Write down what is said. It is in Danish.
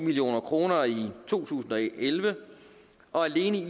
million kroner i to tusind og elleve og alene i